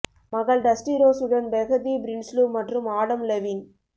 மகள் Dusty Rose உடன் Behati Prinsloo மற்றும் ஆடம் லெவின்